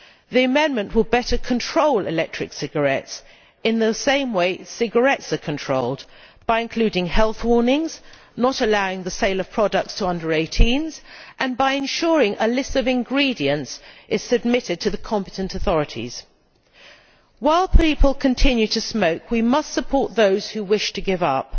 The amendment will better control electronic cigarettes in the same way as cigarettes are controlled, by including health warnings, by not allowing the sale of products to under 18s and by ensuring a list of ingredients is submitted to the competent authorities. While people continue to smoke we must support those who wish to give up.